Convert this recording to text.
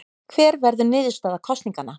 Hver verður niðurstaða kosninganna?